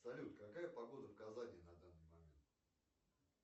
салют какая погода в казани на данный момент